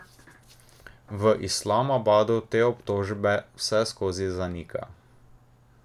V Islamabadu te obtožbe vseskozi zanika.